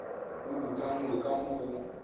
o ukangwe ka mo go